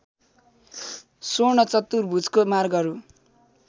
स्वर्ण चतुर्भुजको मार्गहरू